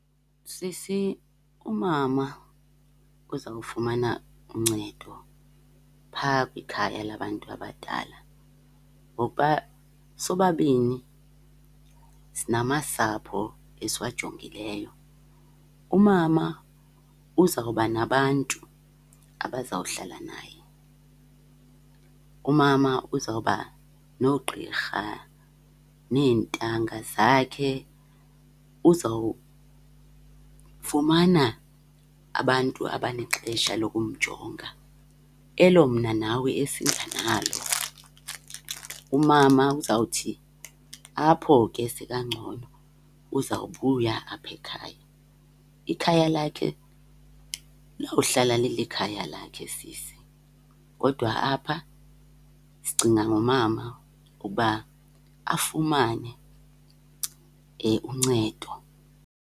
Sisi, umama uzawufumana uncedo phaa kwikhaya labantu abadala, ngokuba sobabini sinamasapho esiwajongileyo. Umama uzawuba nabantu abazawuhlala naye, umama uzawuba noogqirha neentanga zakhe, uzawufumana abantu abanexesha lokumjonga elo mna nawe esingenalo. Umama uzawuthi apho ke sekangcono uzawubuya apha ekhaya. Ikhaya lakhe liyawuhlala lilikhaya lakhe sisi, kodwa apha sicinga ngomama uba afumane uncedo.